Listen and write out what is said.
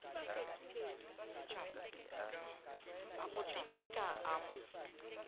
a mo teteka a mo